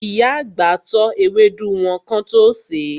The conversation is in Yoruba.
Ìyá àgbà tọ́ ewédú wọn kán tó sèé.